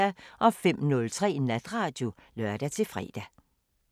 05:03: Natradio (lør-fre)